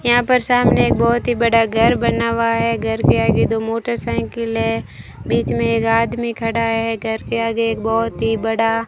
यहां पर सामने एक बहुत ही बड़ा घर बना हुआ है घर के आगे दो मोटरसाइकिल है बीच में एक आदमी खड़ा है घर के आगे एक बहुत ही बड़ा --